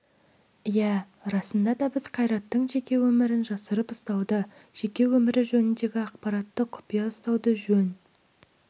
иә расында да біз қайраттың жеке өмірін жасырып ұстауды жеке өмірі жөніндегі ақпараттарды құпия ұстауды жөн